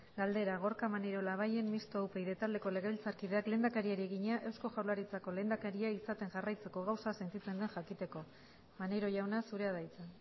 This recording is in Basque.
galdera gorka maneiro labayen mistoa upyd taldeko legebiltzarkideak lehendakariari egina eusko jaurlaritzako lehendakaria izaten jarraitzeko gauza sentitzen den jakiteko maneiro jauna zurea da hitza